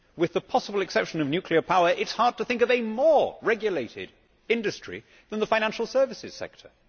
With the possible exception of nuclear power, it is hard to think of a more regulated industry than the financial services sector.